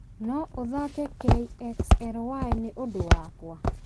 no ũthaake kxly nĩ ũndũ wakwa